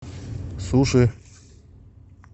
суши